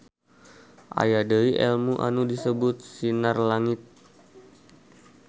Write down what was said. Aya deui elmu anu disebut SinarLangit.